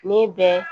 Ne bɛ